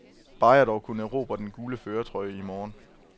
Bare jeg dog kunne erobre den gule førertrøje i morgen.